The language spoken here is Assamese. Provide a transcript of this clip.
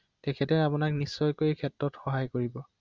হয়